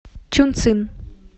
чунцин